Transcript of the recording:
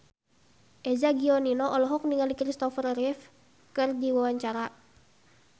Eza Gionino olohok ningali Christopher Reeve keur diwawancara